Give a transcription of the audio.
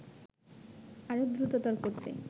আরো দ্রততর করতে